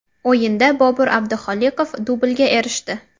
O‘yinda Bobir Abdiholiqov dublga erishdi.